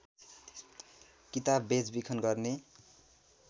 किताब बेचबिखन गर्ने